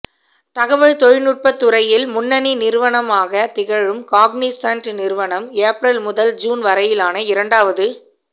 தகவல் தொழில்நுட்பத் துறையில் முன்னணி நிறுவனமாகத் திகழும் காக்னிசன்ட் நிறுவனம் ஏப்ரல் முதல் ஜூன் வரையிலான இரண்டாவது